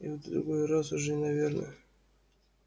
в другой раз уже наверное